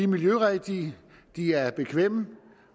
miljørigtige de er bekvemme